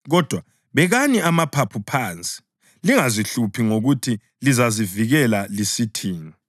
Kodwa bekani amaphaphu phansi, lingazihluphi ngokuthi lizazivikela lisithini.